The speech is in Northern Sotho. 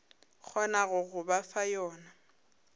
kgonago go ba fa yona